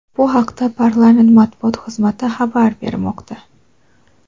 Bu haqda parlament Matbuot xizmati xabar bermoqda.